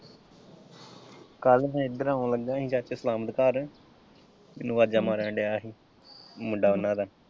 ਕੱਲ੍ਹ ਮੈਂ ਇੱਧਰ ਆਉਣ ਲੱਗਾ ਸੀ ਘਰ ਮੈਨੂੰ ਆਵਾਜ਼ਾਂ ਮਾਰਨ ਦਿਆ ਹੀ ਮੁੰਡਾ ਉਹਨਾ ਦਾ।